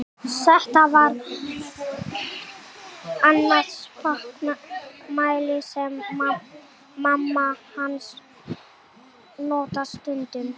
Þetta var annað spakmæli sem mamma hans notaði stundum.